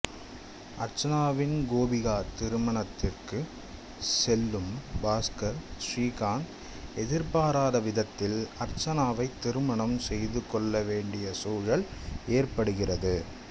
அர்ச்சனாவின் கோபிகா திருமணத்திற்குச் செல்லும் பாஸ்கர் ஸ்ரீகாந்த் எதிர்பாராவிதத்தில் அர்ச்சனாவைத் திருமணம் செய்துகொள்ளவேண்டிய சூழல் ஏற்படுகிறது